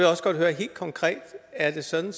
også godt høre helt konkret er det sådan